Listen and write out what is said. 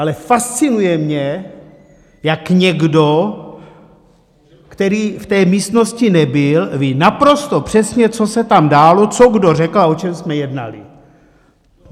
Ale fascinuje mě, jak někdo, který v té místnosti nebyl, ví naprosto přesně, co se tam dálo, co kdo řekl a o čem jsme jednali.